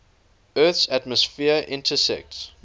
earth's atmosphere intersects